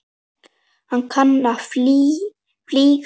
Ég kann að fljúga.